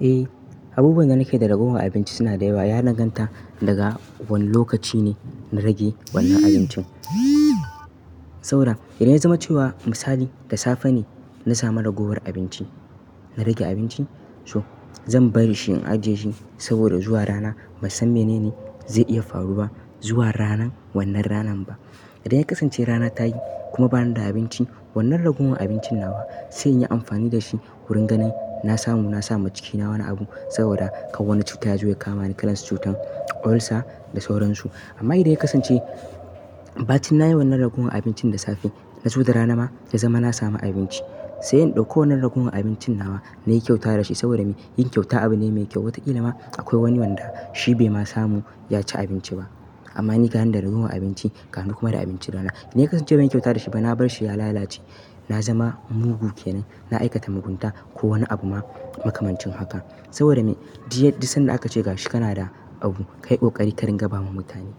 Eh, abubuwan da nake da ragowa a abinci suna da yawa. Ya danganta daga wane lokaci ne na rage wannan abincin. Saboda idan ya zama cewa misali, da safe ne na sami ragowar abinci, na rage abinci, so zan bari shi in ajiye shi saboda zuwa rana basan san menene zai iya faruwa zuwa ranan wannan ranan ba. Idan ya kasance rana ta yi kuma bani da abinci, wannan ragowar abincin nawa sai iyi amfani da shi wurin ganin na samu na sa ma cikina wani abu saboda kara wani cutta ya zo ya kamani kalar cutar ulcer da sauransu. Amma idan ya kasance ba cin na yi wannan ragowar abincin da safe na zo da rana ma da zama na samu abinci, sai in ɗauko wannan ragowar abincin nawa nayi kyauta dashi saboda me? Yin kyauta abu ne mai kyau. Watakila ma akwai wani wanda shi bai ma samu ya ci abinci ba. Amma ni ganin da ragowar abinci ka ni kuma da abinci rana, idan ya kasance ban yi kyauta da shi ba na bar shi ya lalace, na zama mugu kenan, na aikata mugunta ko wani abu ma makamancin haka. Saboda me? Diya, dik sanda aka ce gashi kana da abu, ka yi ƙoƙari ka rinƙa ba ma mutane.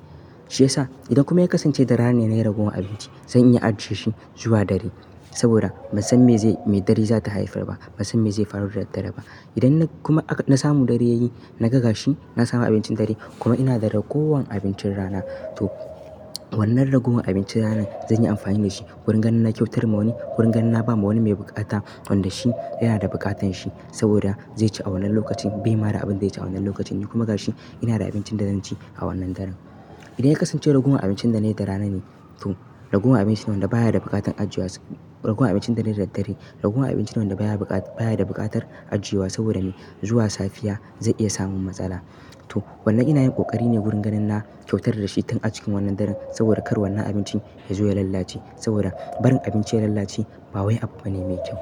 Shiyasa idan kuma ya kasance da rana ne na yi ragowar abinci, zan iya ajiye shi zuwa dare saboda ban san me zai, me dare za ta haifar ba, ban san me zai faru da dare ba. Idan na kuma aka, na samu dare ya yi, na ga gashi, na samu abincin dare kuma ina da ragowar abincin rana, to wannan ragowar abincin ranan zan yi amfani dashi wurin ganin na kyautar ma wani, wurin ganin na ba ma wani mai buƙata wanda shi yana da buƙatan shi saboda zai ci a wannan lokacin bai mara abin da zai ci a wannan lokacin ni kuma gashi ina da abincin da zan ci a wannan daren. Idan ya kasance ragowar abincin da na yi da rana ne, to ragowar abinci nawa da baya da buƙatar ajiyewa ragowar abincin da na yi da dare, ragowar abinci nawa da baya bukat, baya da buƙatar ajiyewa saboda me? Zuwa safiya zai iya samun matsala. To wannan ina yin ƙoƙari ne wurin ganin na kyautar dashi tun a cikin wannan daren saboda kar wannan abinci ya zo ya lalace saboda barin abinci ya lalace ba wai abu bane mai kyau.